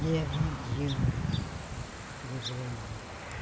Dia vinte e um, vou para a Índia.